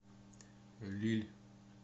лилль